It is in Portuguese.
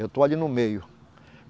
Eu estou ali no meio.